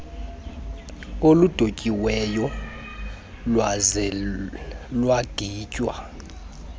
oludontsiweyo lwaze lwaginywa